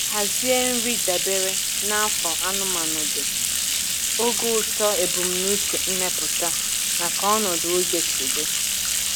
Hazie nri dabere na afọ anụmanụ dị, ogo uto, ebumnuche mmepụta, na ka ọnọdụ oge sị dị.